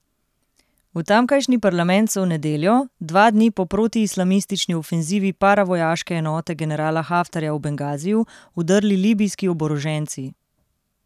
V tamkajšnji parlament so v nedeljo, dva dni po protiislamistični ofenzivi paravojaške enote generala Haftarja v Bengaziju, vdrli libijski oboroženci.